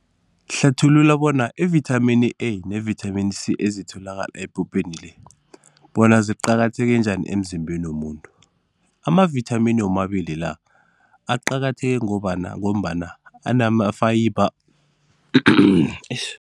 Hlathulula bona ivithamini A nevithamini C ezitholakala bona ziqakatheke njani emzimbeni womuntu. Amavithamini womabili la, aqakatheke ngobana ngombana anama-fiber